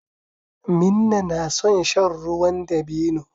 Minna na son shan ruwan dabino.